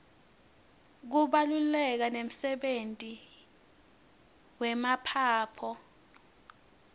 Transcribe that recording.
kubaluleka nemdebenti yemaphaphy